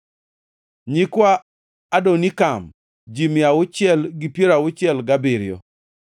nyikwa Adonikam, ji mia auchiel gi piero auchiel gabiriyo (667),